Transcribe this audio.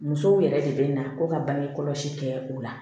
Musow yɛrɛ de bɛ na ko ka bange kɔlɔsi kɛ o la